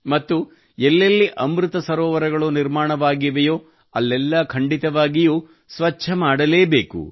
ಮತ್ತು ಎಲ್ಲೆಲ್ಲಿ ಅಮೃತ ಸರೋವರಗಳು ನಿರ್ಮಾಣವಾಗಿದೆಯೋ ಅಲ್ಲೆಲ್ಲಾ ಖಂಡಿತವಾಗಿಯೂ ಸ್ವಚ್ಛ ಮಾಡಲೇಬೇಕು